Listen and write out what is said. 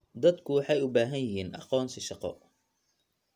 Dadku waxay u baahan yihiin aqoonsi shaqo.